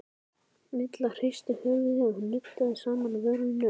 Milla hristi höfuðið og nuddaði saman vörunum.